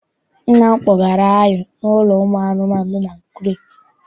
Nna m kpọgara anyị n'ụlọ ụmụ anụmanụ dị n'Akure.